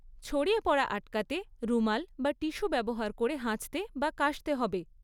ছড়িয়ে পড়া আটকাতে, রুমাল বা টিস্যু ব্যবহার করে হাঁচতে বা কাশতে হবে।